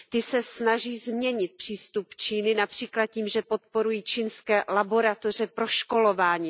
Ty se snaží změnit přístup Číny například tím, že podporují čínské laboratoře proškolováním.